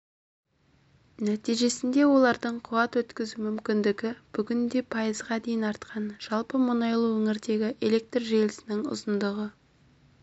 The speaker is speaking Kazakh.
нәтижесінде олардың қуат өткізу мүмкіндігі бүгінде пайызға дейін артқан жалпы мұнайлы өңірдегі электр желісінің ұзындығы